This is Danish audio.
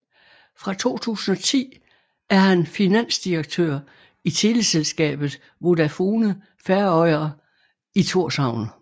Fra 2010 er han finansdirektør i teleselskabet Vodafone Føroyar i Tórshavn